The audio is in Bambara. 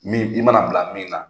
Min i mana bila min na